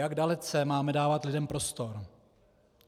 Jak dalece máme dávat lidem prostor.